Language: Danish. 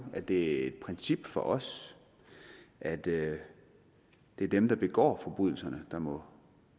at det er et princip for os at det er dem der begår forbrydelserne der må